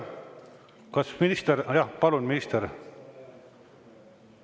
Kas minister soovib?